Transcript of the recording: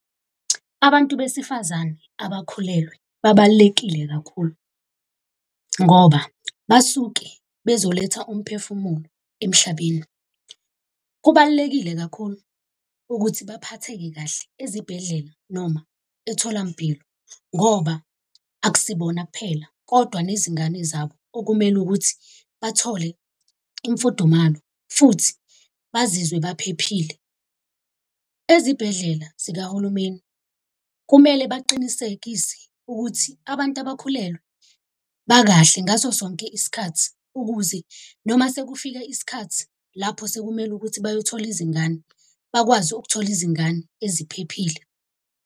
Abantu besifazane abakhulelwe babalulekile kakhulu ngoba basuke bezoletha umphefumulo emhlabeni. Kubalulekile kakhulu ukuthi baphatheke kahle ezibhedlela noma etholampilo, ngoba akusibona kuphela kodwa nezingane zabo okumele ukuthi bathole imfudumalo futhi bazizwe baphephile. ezibhedlela zikahulumeni kumele baqinisekise ukuthi abantu abakhulelwe bakahle ngaso sonke isikhathi, ukuze noma sekufike isikhathi lapho sekumele ukuthi bayothola izingane, bakwazi ukuthola izingane eziphephile.